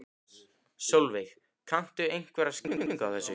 Sólveig: Kanntu einhverja skýringu á þessu?